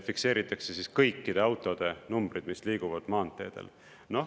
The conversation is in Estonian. Fikseeritakse kõikide autode numbrid, mis liiguvad maanteedel.